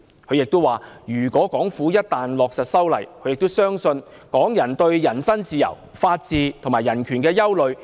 他亦指出，港府一旦落實修例，預料將引起港人對人身自由、法治及人權的憂慮。